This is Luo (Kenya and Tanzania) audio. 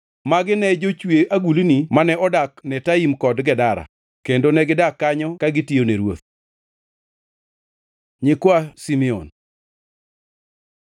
Magi ne jo-chwe agulni mane odak Netaim kod Gedera, kendo negidak kanyo ka negitiyone ruoth. Nyikwa Simeon